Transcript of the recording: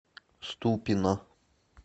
ступино